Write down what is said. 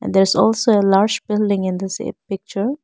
And there is also a large building in the se picture.